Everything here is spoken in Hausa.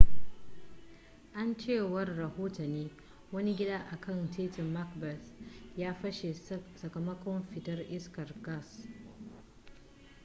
a cewar rahotanni wani gida a kan titin macbeth ya fashe sakamakon fitar iskar gas